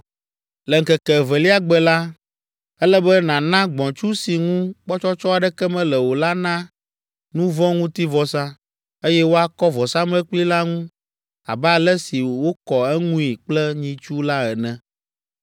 “Le ŋkeke evelia gbe la, ele be nàna gbɔ̃tsu si ŋu kpɔtsɔtsɔ aɖeke mele o la na nu vɔ̃ ŋuti vɔsa, eye woakɔ vɔsamlekpui la ŋu abe ale si wokɔ eŋui kple nyitsu la ene.